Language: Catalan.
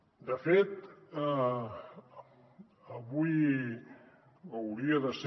de fet avui hauria de ser